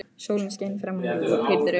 Sólin skein framan í þig og þú pírðir augun.